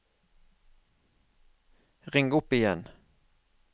ring opp igjen